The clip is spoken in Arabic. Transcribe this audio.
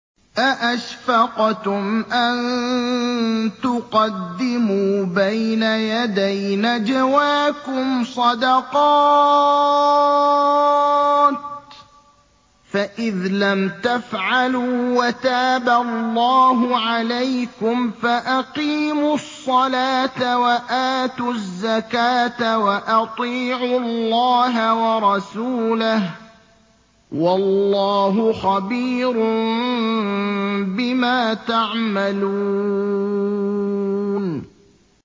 أَأَشْفَقْتُمْ أَن تُقَدِّمُوا بَيْنَ يَدَيْ نَجْوَاكُمْ صَدَقَاتٍ ۚ فَإِذْ لَمْ تَفْعَلُوا وَتَابَ اللَّهُ عَلَيْكُمْ فَأَقِيمُوا الصَّلَاةَ وَآتُوا الزَّكَاةَ وَأَطِيعُوا اللَّهَ وَرَسُولَهُ ۚ وَاللَّهُ خَبِيرٌ بِمَا تَعْمَلُونَ